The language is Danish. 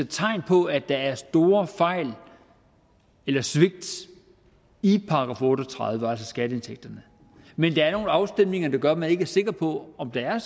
tegn på at der er store fejl eller svigt i § otte og tredive altså skatteindtægterne men der er nogle afstemninger der gør at man ikke er sikker på om der